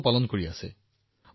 সমগ্ৰ বিশ্বলৈ টেংকাৰ পৰিবহণ কৰিছে